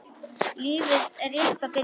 Lífið er rétt að byrja.